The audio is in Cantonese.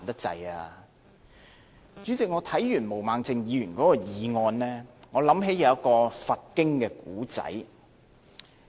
主席，我看完毛孟靜議員的議案，想起一個佛經故事。